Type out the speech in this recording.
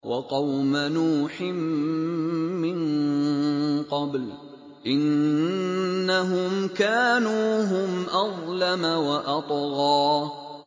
وَقَوْمَ نُوحٍ مِّن قَبْلُ ۖ إِنَّهُمْ كَانُوا هُمْ أَظْلَمَ وَأَطْغَىٰ